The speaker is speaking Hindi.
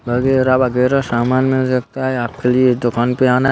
वगैरह वगैरह सामान मिल सकता है आपके लिए दुकान पे आना है।